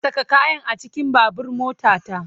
Saka kayan a cikin babbar motata!